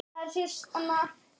Smakkast þetta vel?